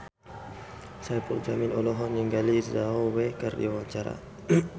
Saipul Jamil olohok ningali Zhao Wei keur diwawancara